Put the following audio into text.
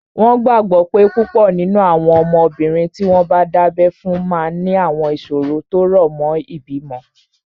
Wọ́n gbàgbọ́ pé púpọ̀ nínú àwọn ọmọbìnrin tí wọ́n dábẹ́ fún máa ní àwọn ìṣòro tó rọ̀ mọ́ ìbímọ